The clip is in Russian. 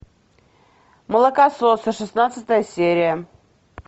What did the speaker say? молокососы шестнадцатая серия